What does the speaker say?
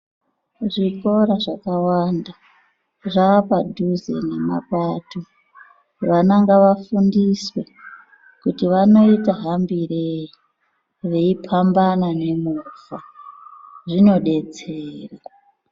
Zvikora zvakawanda zvapadhuze nemapato vana ngava fundiswe kuti vanoita hambirei veipambana nemovha zvinodetsera.